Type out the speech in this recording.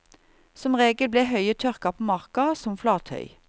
Som regel ble høyet tørket på marka, som flathøy.